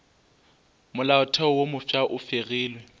molaotheo wo mofsa e fegilwe